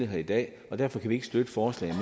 her i dag derfor kan vi ikke støtte forslaget